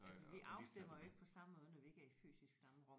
Altså vi afstemmer jo ikke på samme måde når vi ikke er i fysisk samme rum